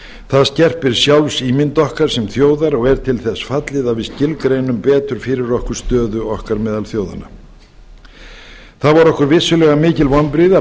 það skerpir sjálfsímynd okkar sem þjóðar og er til þess fallið að við skilgreinum betur fyrir okkur stöðu okkar meðal þjóðanna það voru okkur vissulega mikil vonbrigði að